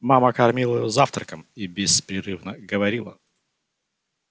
мама кормила его завтраком и беспрерывно говорила